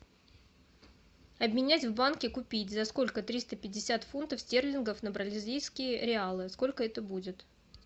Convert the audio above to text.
обменять в банке купить за сколько триста пятьдесят фунтов стерлингов на бразильские реалы сколько это будет